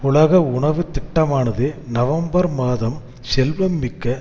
உலக உணவு திட்டமானது நவம்பர் மாதம் செல்வம்மிக்க